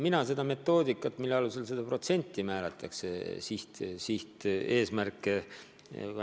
Mina seda metoodikat, mille alusel seda protsenti määratakse, täpselt ei tea.